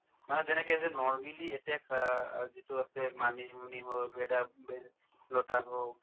মানুহে যেনেকে যে normally এতিয়া চোৱা আ যিটো আছে মানিমুনি হওক , ভেদা~ ভেদাইলতা হওক